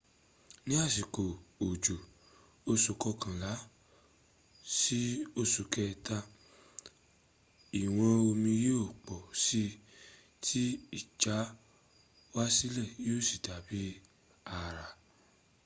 ní àsìkò òjò oṣù kọkànlá sí oṣù kẹta ìwọn omi yíó pọ̀ sí tí ìjáwásílẹ̀ yíò sí dàbí àrà